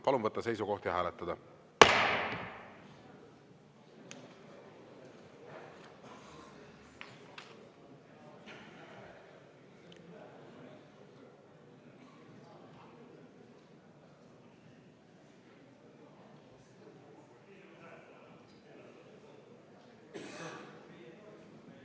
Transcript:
Palun võtta seisukoht ja hääletada!